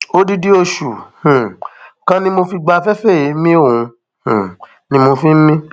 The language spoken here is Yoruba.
odidi oṣù um kan ni mo fi gba afẹfẹ èémí òun um ni mo fi ń mí